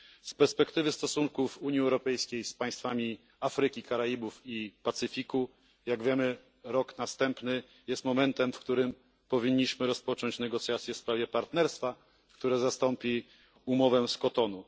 Z perspektywy stosunków Unii Europejskiej z państwami Afryki, Karaibów i Pacyfiku, jak wiemy, rok następny jest momentem, w którym powinniśmy rozpocząć negocjacje w sprawie partnerstwa, które zastąpi umowę z Kotonu.